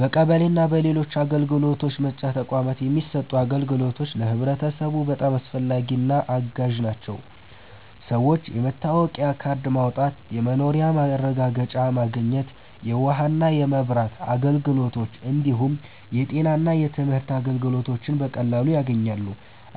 በቀበሌ እና በሌሎች አገልግሎት መስጫ ተቋማት የሚሰጡት አገልግሎቶች ለህብረተሰቡ በጣም አስፈላጊና አጋዥ ናቸው። ሰዎች የመታወቂያ ካርድ ማውጣት፣ የመኖሪያ ማረጋገጫ ማግኘት፣ የውሃና የመብራት አገልግሎት እንዲሁም የጤና እና የትምህርት አገልግሎቶችን በቀላሉ ያገኛሉ።